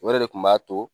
O yɛrɛ de kun b'a to